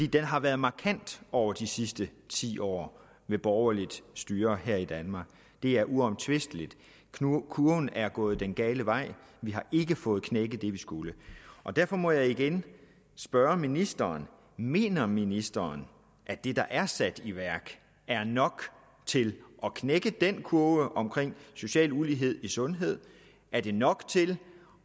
den har været markant over de sidste ti år med borgerligt styre her i danmark det er uomtvisteligt kurven er gået den gale vej vi har ikke fået knækket det vi skulle derfor må jeg igen spørge ministeren mener ministeren at det der er sat i værk er nok til at knække den kurve omkring social ulighed i sundhed er det nok til